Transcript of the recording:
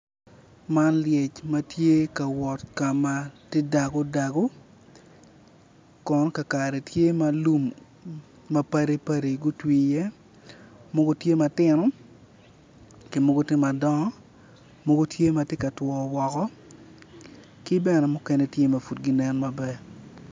Man lyec ma tye ka wot ka ma tye dago dago kono ka kare tye ma lum mapatpat gutwi i iye mogo tye matino ki mogo tye madongo mogo tye ma tye katwo woko ki bene mukene tye ma pud ginen maber